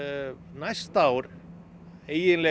næsta ár eiginlega